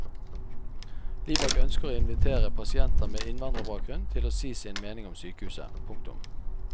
Libak ønsker å invitere pasienter med innvandrerbakgrunn til å si sin mening om sykehuset. punktum